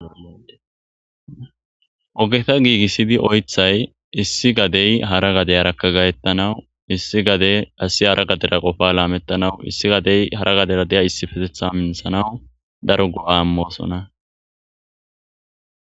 Ogeta giigissidi oythay issi gadey hara gadey arakka gayettanawu issi gade asi hara gadera qofa laamettanawu issi gadey hara gadera deya issi fetetha minthanaw daro go7a moosona.